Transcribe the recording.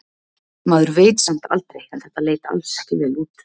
Maður veit samt aldrei en þetta leit alls ekki vel út.